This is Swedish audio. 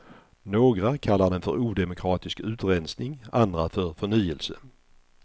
Några kallar den för odemokratisk utrensning, andra för förnyelse.